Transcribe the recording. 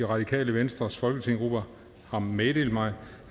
radikale venstres folketingsgruppe har meddelt mig